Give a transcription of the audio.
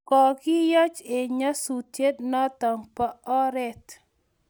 Kokiyoch eng nyasutiet notok po oret